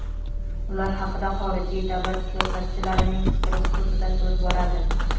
u haqida xorijiy davlat siyosatchilarining fikri xususida so‘z boradi.